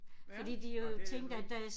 Ja og det er jo